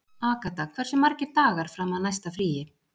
Agatha, hversu margir dagar fram að næsta fríi?